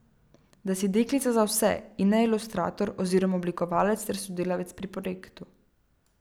Da si deklica za vse in ne ilustrator oziroma oblikovalec ter sodelavec pri projektu.